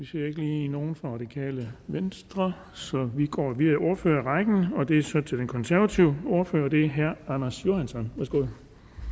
ser ikke lige nogen fra det radikale venstre så vi går videre i ordførerrækken og det er så til den konservative ordfører og det er herre anders johansson værsgo